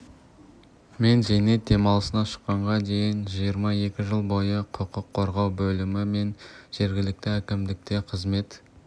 мен зейнет демалысына шыққанға дейін жиырма екі жыл бойы құқық қорғау бөлімі мен жергілікті әкімдікте қызмет